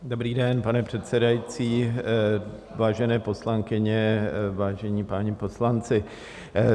Dobrý den, pane předsedající, vážené poslankyně, vážení páni poslanci.